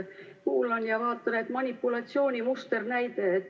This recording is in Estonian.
Kuulan ja vaatan, et manipulatsiooni musternäide.